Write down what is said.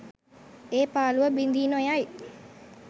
ඒ පාළුව බිඳී නොයයි